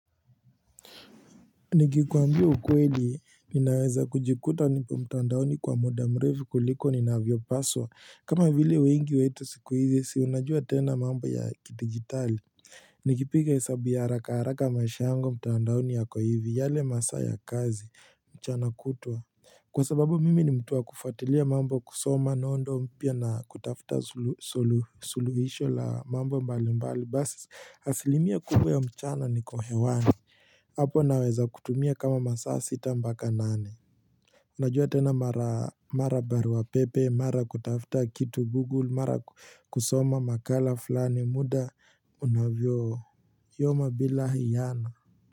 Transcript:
Nikikuambia ukweli ninaweza kujikuta nipo mtandaoni kwa muda mrefu kuliko ninavyopaswa kama vile wengi wetu siku hizi si unajua tena mambo ya kiditijitali nikipiga hesabu ya haraka haraka maisha yangu mtandaoni yako hivi yale masaa ya kazi mchana kutwa Kwa sababu mimi ni mtu wa kufuatilia mambo kusoma nondo mpya na kutafuta sulu suluhisho la mambo mbali mbali basi asilimia kubwa ya mchana niko hewani hapo naweza kutumia kama masaa sita mpaka nane unajua tena mara barua pepe mara kutafuta kitu google mara kusoma makala fulani muda unavyoyoma bila hiyano.